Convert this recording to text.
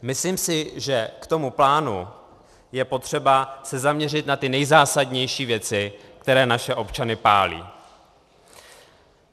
Myslím si, že k tomu plánu je potřeba se zaměřit na ty nejzásadnější věci, které naše občany pálí.